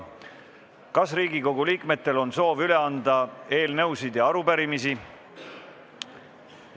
Kas Riigikogu liikmetel on soovi anda üle eelnõusid ja arupärimisi?